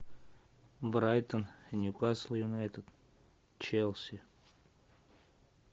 брайтон ньюкасл юнайтед челси